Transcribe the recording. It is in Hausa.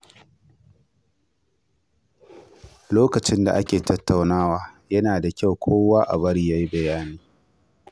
Lokacin da ake tattaunawa, yana da kyau a bari kowa ya yi bayani.